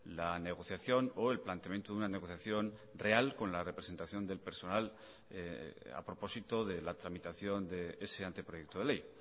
la negociación o el planteamiento de una negociación real con la representación del personal a propósito de la tramitación de ese anteproyecto de ley